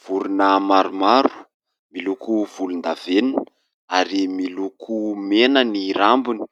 Vorona maromaro miloko volondavenona ary miloko mena ny rambony,